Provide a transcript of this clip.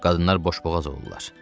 Qadınlar boşboğaz olurlar.